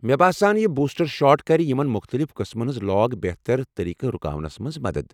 مے باسان یہ booster shot کر یمن مختلف قسمن ہنٛز لاگ بہتر طریقہٕ رُکاونس منٛز مدتھ ۔